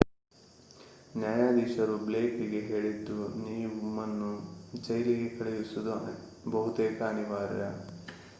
ನ್ಯಾಯಾಧೀಶರು ಬ್ಲೇಕ್‌ಗೆ ಹೇಳಿದ್ದು ನಿಮ್ಮನ್ನು ಜೈಲಿಗೆ ಕಳುಹಿಸುವುದು ಬಹುತೇಕ ಅನಿವಾರ್ಯ